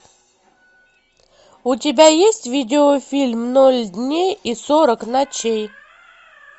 у тебя есть видеофильм ноль дней и сорок ночей